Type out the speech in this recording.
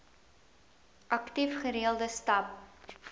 aktief gereelde stap